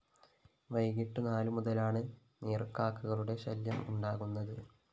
വൈകിട്ട് നാലു മുതലാണ് നീര്‍ക്കാക്കകളുടെ ശല്യം ഉണ്ടാകുന്നത്